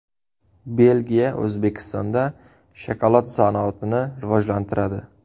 Belgiya O‘zbekistonda shokolad sanoatini rivojlantiradi.